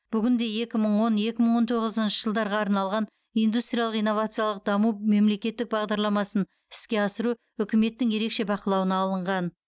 бүгінде екі мың он екі мың он тоғызыншы жылдарға арналған индустриялық инновациялық даму мемлекеттік бағдарламасын іске асыру үкіметтің ерекше бақылауына алынған